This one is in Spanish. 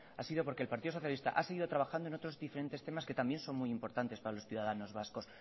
ha sido porque el partido socialista a seguido trabajando en otros diferentes temas que también son muy importantes para los ciudadanos vascos